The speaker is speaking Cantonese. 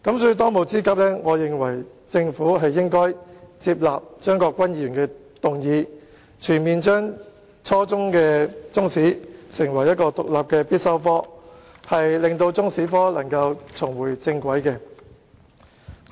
所以，當務之急，政府應接納張國鈞議員的議案，全面將初中中史列為獨立的必修科，令中史科重回正軌。